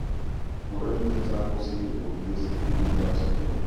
Murenik chechang' kosir kokikesikyi Gilbert syndrome